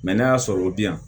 n'a y'a sɔrɔ o bi yan